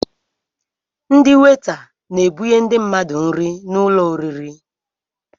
Ndị weta n'ebunye ndị mmadụ nri n'ụlọ oriri